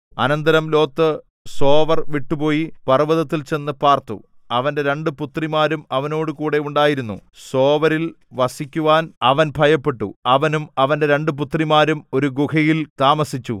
അനന്തരം Lot Zoar വിട്ടുപോയി പർവ്വതത്തിൽ ചെന്നു പാർത്തു അവന്റെ രണ്ട് പുത്രിമാരും അവനോടുകൂടെ ഉണ്ടായിരുന്നു സോവരിൽ വസിക്കുവാൻ അവൻ ഭയപ്പെട്ടു അവനും അവന്റെ രണ്ട് പുത്രിമാരും ഒരു ഗുഹയിൽ താമസിച്ചു